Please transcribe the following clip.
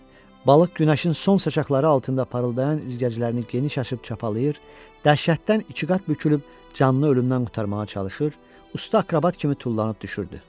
Balıq günəşin son şacaqları altında parıldayan üzgəclərini geniş açıb çapalayır, dəhşətdən iki qat bükülüb canını ölümdən qurtarmağa çalışır, usta akrobat kimi tullanıb düşürdü.